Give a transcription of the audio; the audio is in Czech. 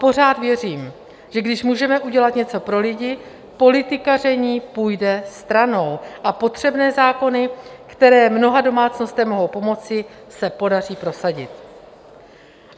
Pořád věřím, že když můžeme udělat něco pro lidi, politikaření půjde stranou a potřebné zákony, které mnoha domácnostem mohou pomoci, se podaří prosadit.